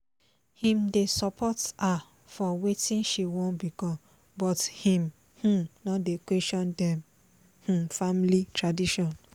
im dey support her for wetin she wan become but im um no dey question dem um family tradition